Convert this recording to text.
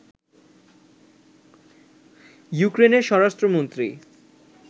ইউক্রেনের স্বরাষ্ট্র মন্ত্রী